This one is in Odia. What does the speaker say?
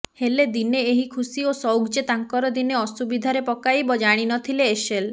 ହେଲେ ଦିନେ ଏହି ଖୁସି ଓ ସଉକ ଯେ ତାଙ୍କର ଦିନେ ଅସୁବିଧାରେ ପକାଇବ ଜାଣିନଥିଲେ ଏଶେଲ